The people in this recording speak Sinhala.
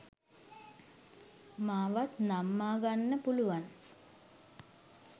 මාවත් නම්මාගන්න පුළුවන්